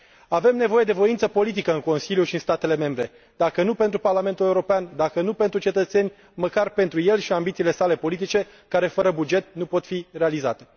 Avem nevoie de voință politică în Consiliu și în statele membre, dacă nu pentru Parlamentul European, dacă nu pentru cetățeni, măcar pentru el și ambițiile sale politice, care, fără buget, nu pot fi realizate.